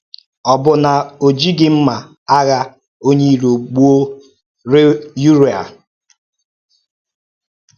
Ọ̀ bụ na ọ̀ jighị mma agha onye iro gbùo Yuraị́a?